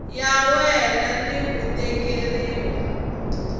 ya wena ni ku tekeriwa